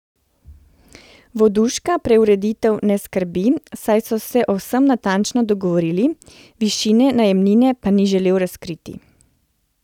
Voduška preureditev ne skrbi, saj so se o vsem natančno dogovorili, višine najemnine pa ni želel razkriti.